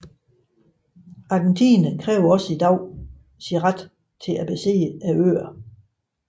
Argentina kræver også i dag sin ret til at besidde øerne